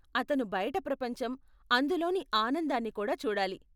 అతను బయట ప్రపంచం, అందులోని ఆనందాన్ని కూడా చూడాలి.